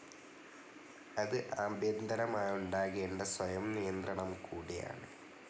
അത് ആഭ്യന്തരമായുണ്ടാകേണ്ട സ്വയംനിയന്ത്രണം കൂടിയാണ്.